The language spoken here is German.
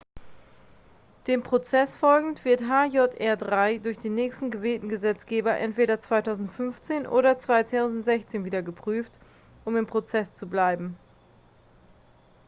dem prozess folgend wird hjr-3 durch den nächsten gewählten gesetzgeber entweder 2015 oder 2016 wieder geprüft um im prozess zu bleiben